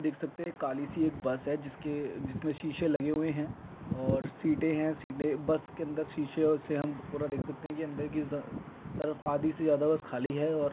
देख सकते काली सी एक बस है। जिसके जिसमें शीशे लगे हुए हैं और सीटे हैं सीटे बस के अंदर शीशे से हम पूरा देख सकते हैं अंदर किस तरफ आधी से ज्यादा बस खाली है। और--